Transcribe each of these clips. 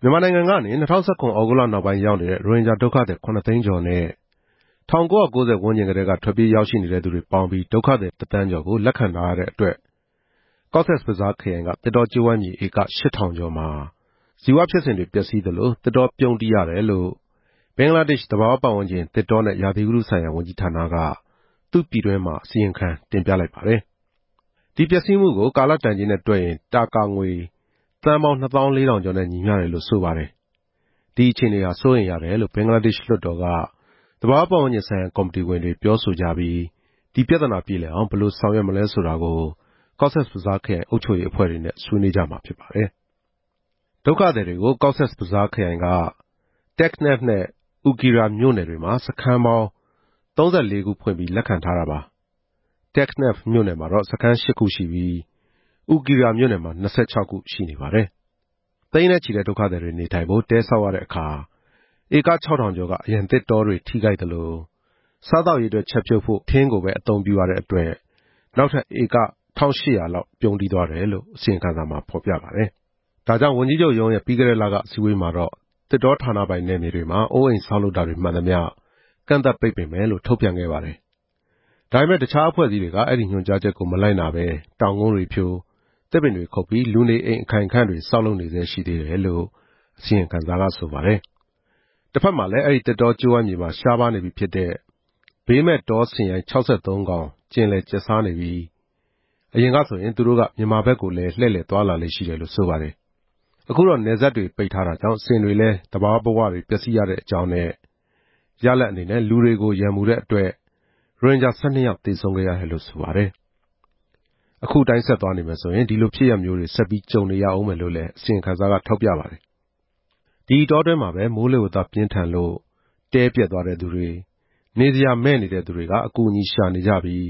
မြန်မာနိုင်ငံကနေ ၂ဝ၁၇ သြဂုတ်လနောက်ပိုင်း ရောက်နေတဲ့ ရိုဟင်ဂျာဒုက္ခသည် ခုနှစ်သိန်းကျော်နဲ့ ၁၉၉ဝ ဝန်းကျင်ကတည်းက ထွက်ပြေးရောက်နေတဲ့သူတွေပေါင်းပြီး ဒုက္ခသည်တစ်သန်းကျော်ကို လက်ခံထားရတဲ့အတွက် ကော့ဆက်ဘဇားခရိုင်က သစ်တောကြိုးဝိုင်းမြေဧက ၈ဝဝဝ ကျော်မှာ ဇီဝဖြစ်စဉ်တွေ ပျက်စီးသလို၊ သစ်တောပြုန်းတီးရတယ်လို့ ဘင်္ဂလားဒေ့ရှ်သဘာဝပတ်ဝန်းကျင်၊ သစ်တောနဲ့ ရာသီဥတုဆိုင်ရာ ဝန်ကြီးဌာနက သူ့ပြည်တွင်းမှာ အစီရင်ခံတင်ပြလိုက်ပါတယ်။ ဒီပျက်စီးမှုကို ကာလတန်ကြေးနဲ့တွက်ရင် တာကာငွေ သန်းပေါင်း နှစ်သောင်းလေးထောင်ကျော်နဲ့ ညီမျှတယ်လို့ ဆိုပါတယ်။ ဒီအခြေအနေဟာ စိုးရိမ်ရတယ်လို့ ဘင်္ဂလားဒေ့ရှ်လွှတ်တော်က သဘာဝပတ်ဝန်း ကျင်ဆိုင်ရာ ကော်မတီဝင်တွေက ပြောဆိုကြပြီး ဒီပြဿနာပြေလည်အောင် ဘယ်လိုဆောင်ရွက်မလဲဆိုတာကို ကော့ဆက်ဘဇာခရိုင်အုပ်ချုပ်ရေးအဖွဲ့တွေနဲ့ ဆွေးနွေးကြမှာဖြစ်ပါတယ်။ ဒုက္ခသည်တွေကို ကော့ဆက်ဘဇားခရိုင်က တက်ခ်နက်ဖ်နဲ့ အူကီရာမြို့နယ်တွေမှာ စခန်းပေါင်း ၃၄ ခု ဖွင့်ပြီး လက်ခံထားတာပါ။ တက်နက်ဖ်မြို့နယ်မှာ စခန်း ရှစ်ခုရှိပြီး၊ အူကီရာမြို့နယ်မှာ ၂၆ ခုရှိနေပါ တယ်။ သိန်းချီနေတဲ့ဒုက္ခသည်တွေနေထိုင်ဖို့ တဲဆောက်ရတဲ့အခါ ဧကခြောက်ထောင်ကျော်က အရန်သစ်တောတွေ ထိခိုက်သလို၊ စားသောက်ရေးအတွက်ချက်ပြုတ်ဖို့တဲ့အခါ ထင်းကိုပဲအသုံးပြုရတဲ့အတွက် နောက်ထပ် ဧကတစ်ထောင့်ရှစ်ရာလောက်ပြုန်းတီးသွားတယ်လို့ အစီရင်ခံစာမှာဖော်ပြပါတယ်။ ဝန်ကြီးချုပ်ရုံးရဲ့ပြီးခဲ့တဲ့လက အစည်းအဝေးမှာတော့ သစ်တောဌာနပိုင်နယ်မြေတွေမှာ အိုးအိမ်ဆောက်လုပ်တာတွေ မှန်သမျှ ကန့်သတ်ပိတ်ပင်မယ်လို့ ထုတ်ပြန်ခဲ့ပါတယ်။ ဒါပေမယ့် တခြားအဖွဲ့အစည်းတွေက အဲဒီညွှန်ကြားချက်ကို မလိုက်နာဘဲ တောင်ကုန်းတွေဖြို၊ သစ်ပင်တွေခုတ်ပြီး လူနေအိမ်အခိုင်အခံ့တွေ ဆောက်လုပ်နေဆဲ ရှိသေးတယ်လို့ အစီရင်ခံစာက ဆိုပါတယ်။ တဖက်မှာလည်း အဲဒီသစ်တောကြိုးဝိုင်းမြေမှာ ရှားပါးနေပြီဖြစ်တဲ့ ဘေးမဲ့တောဆင်ရိုင်း ၆၃ ကောင် ကျင်လည်ကျက်စားနေပြီး၊ အရင်ကဆိုရင် သူတို့က မြန်မာဘက်ကိုလည်း လှည့်လည်သွားလာလေ့ရှိတယ်လို့ ဆိုပါတယ်။ အခုတော့ နယ်စပ်တွေပိတ်ဆို့ထားတာကြောင့် ဆင်တွေလည်း သဘာဝဘဝတွေ ပျက်စီးရတဲ့အကြောင်းနဲ့ ရလာဒ်အနေနဲ့ လူတွေကို ရန်မူတဲ့အတွက် ရိုဟင်ဂျာ ၁၂ ယောက်သေဆုံးခဲ့ရတယ်လို့ ဆိုပါတယ်။ အခုအတိုင်းဆက်သွားနေမယ်ဆိုရင် ဒီလိုဖြစ်ရပ်ဆက်ကြုံနေရဦးမယ်လို့လည်း အစီရင်ခံစာကထောက်ပြပါတယ်။ ဒီအတောအတွင်းမှာပဲ မိုးလေဝသပြင်းထန်လို့ တဲပျက်သွားတဲ့သူတွေ၊ နေစရာမဲ့နေတဲ့သူတွေက အကူအညီရှာနေကြပြီး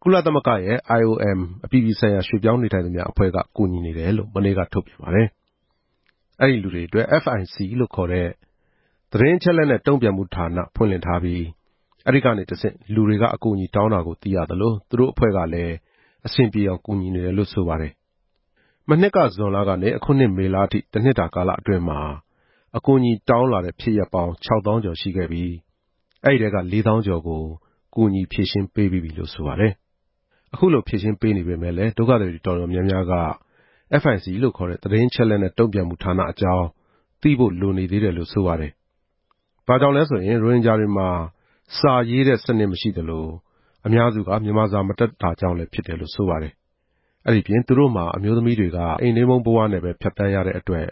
၊ ကုလသမဂ္ဂရဲ့ IOM အပြည်ပြည်ဆိုင်ရာရွှေ့ပြောင်းနေထိုင်သူများအဖွဲ့က ကူညီနေတယ်လို့ မနေ့က ထုတ်ပြန်ပါတယ်။ အဲဒီလူတွေအတွက် FIC လို့ခေါ်တဲ့ သတင်းအချက်နဲ့ တုံ့ပြန်မှုဌာနဖွင့်လှစ်ထားပြီး အဲဒီကနေတဆင့် လူတွေက အကူအညီတောင်းတာကို သိရသလို၊ သူတို့အဖွဲ့ကလည်း အဆင်ပြေအောင်ကူညီနေတယ်လို့ ဆိုပါတယ်။ မနှစ်က ဇွန်ကနေ အခုနှစ်မေလအထိ တနှစ်တာကာလအတွင်းမှာ အကူအညီတောင်းတဲ့ဖြစ်ရပ် ခြောက်သောင်းကျော်ရှိခဲ့ပြီး၊ အဲဒီထဲက လေးသောင်းကျော်ကို ကူညီဖြေရှင်းပေးပြီးပြီလို့ဆိုပါတယ်။ အခုလိုဖြေရှင်းပေနေပေမယ့်လည်း ဒုက္ခသည်တွေအတော်များများက FIC လို့ခေါ်တဲ့ သတင်းအချက်နဲ့ တုံ့ပြန်မှုဌာနအကြောင်း သိဖို့လိုနေသေးတယ်လို့ ဆိုပါတယ်။ ဘာကြောင့်လဲဆိုရင် ရိုဟင်ဂျာတွေမှာ စာရေးတဲ့စနစ်မရှိသလို၊ အများစုက မြန်မာစာမတတ်ကြတာကြောင့်လည်း ဖြစ်တယ်လို့ ဆိုပါတယ်။ အဲဒီအပြင် သူတို့မှာ အမျိုးသမီးတွေက အိမ်တွင်းပုန်းဘဝနဲ့ပဲ ဖြတ်သန်းရတဲ့အတွက်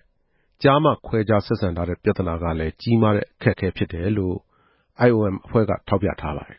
ကျားမခွဲခြား ဆက်ဆံထားတဲ့ပြဿနာကလည်း ကြီးမားတဲ့အခက်အခဲဖြစ်တယ်လို့ IOM အဖွဲ့က ထောက်ပြထားပါတယ်